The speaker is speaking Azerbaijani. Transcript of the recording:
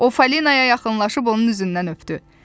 O Falinaya yaxınlaşıb onun üzündən öpdü.